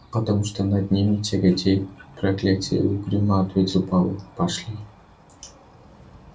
потому что над ними тяготеет проклятие угрюмо ответил пауэлл пошли